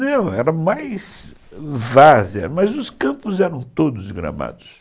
Não, era mais várzea, mas os campos eram todos gramados.